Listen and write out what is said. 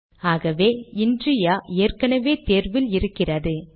சரி ஆகவே இன்ரியா ஏற்கெனெவே தேர்வில் இருக்கிறது